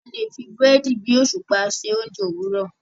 a lẹ fí Búrẹ́dì bí òṣùpá ṣe oúnjẹ Òwúrọ.